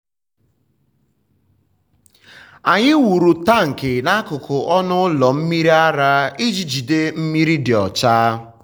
anyị wuru tank n’akụkụ ọnụ ụlọ mmiri ara iji jide mmiri dị ọcha.